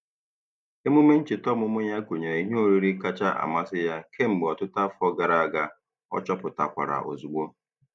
Emume ncheta ọmụmụ ya gụnyere ihe oriri kacha amasị ya kemgbe ọtụtụ afọ gara aga, ọ chọpụtakwara ozugbo.